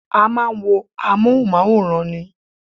A máa ń wo amóhùnmáwòrán ni